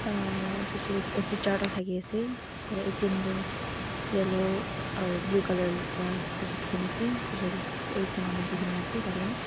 Uhhh bechidae AC charta thakey ase tatey atm tuh yellow aro blue colour pra lekhina ase bechidae ek jun manu buhi nah ase tatey--